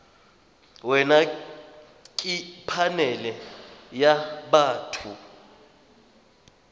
wena ke phanele ya batho